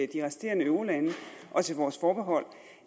de resterende eurolande og til vores forbehold